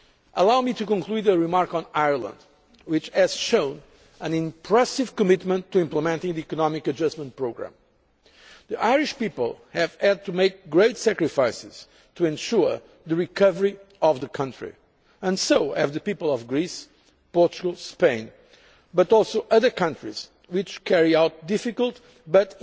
level. Allow me to conclude with a remark on Ireland, which has shown an impressive commitment to implementing the economic adjustment programme. The Irish people have had to make great sacrifices to ensure the recovery of the country and so have the people of Greece, Portugal, Spain, but also other countries which carry out difficult